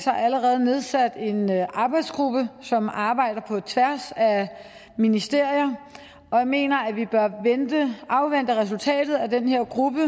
allerede nedsat en arbejdsgruppe som arbejder på tværs af ministerier og jeg mener at vi bør afvente resultatet af den her gruppes